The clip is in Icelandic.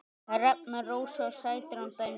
Hrefna Rósa Sætran dæmdi.